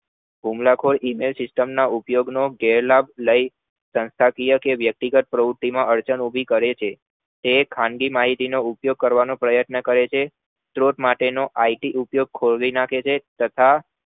હુમલાખોર email system ના ઉપયોગ નો ગેર લાભ લઇ સંસ્થાકીય કે વ્યક્તિગત પ્રવુતિમાં અડચણ ઉભી કરે છે તે એ ખાનગી માહિતી નો ઉપયોગ કરવાનો પ્રયત્ન કરે છે સ્ત્રોત માટે નો It ઉપયોગ ખોલવી નાખે છે તથા